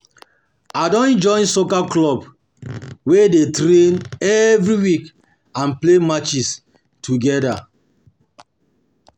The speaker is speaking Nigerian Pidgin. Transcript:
I don join soccer club, we dey train every week and play matches together.